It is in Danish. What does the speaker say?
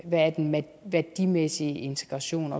hvad den værdimæssige integration